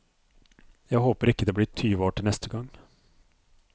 Jeg håper ikke det blir tyve år til neste gang.